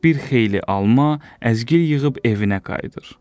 Bir xeyli alma, əzgil yığıb evinə qayıdır.